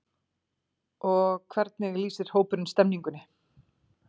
Og hvernig lýsir hópurinn stemningunni?